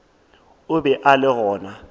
o be a le gona